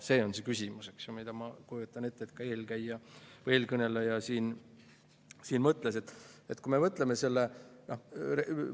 See on see küsimus, mida, ma kujutan ette, ka eelkõneleja siin.